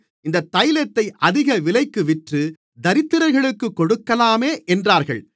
இந்தத் தைலத்தை அதிக விலைக்கு விற்று தரித்திரர்களுக்குக் கொடுக்கலாமே என்றார்கள்